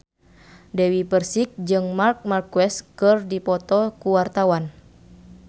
Dewi Persik jeung Marc Marquez keur dipoto ku wartawan